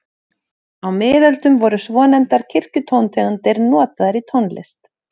Á miðöldum voru svonefndar kirkjutóntegundir notaðar í tónlist.